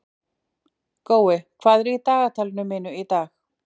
Gói, hvað er í dagatalinu mínu í dag?